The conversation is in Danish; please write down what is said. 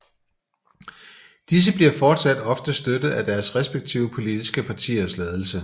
Disse bliver fortsat ofte støttet af deres respektive politiske partiers ledelse